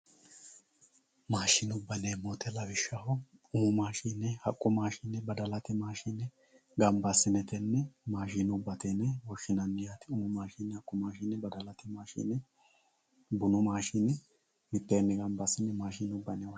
Maashinubba yineemo woyte lawishshaho umu maashine Haqqu maashine badalate maashine mitee ganibba assine maashinubba yineemo Umu maashine haqqu maashine badalate maashine mitee ganibba assine maashinubba yineemo